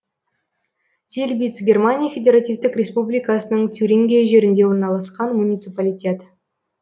зильбиц германия федеративтік республикасының тюрингия жерінде орналасқан муниципалитет